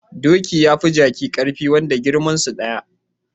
Doki yafi jaki karfi wanda girmansu daya